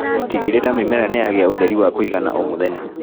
Tigĩrĩra mĩmera nĩyagĩa ũtheri wa kũigana o mũthenya.